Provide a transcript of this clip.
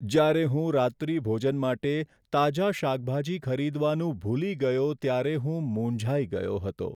જ્યારે હું રાત્રિભોજન માટે તાજા શાકભાજી ખરીદવાનું ભૂલી ગયો ત્યારે હું મૂંઝાઈ ગયો હતો.